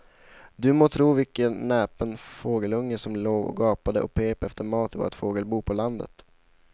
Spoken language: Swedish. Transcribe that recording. Du må tro vilken näpen fågelunge som låg och gapade och pep efter mat i vårt fågelbo på landet.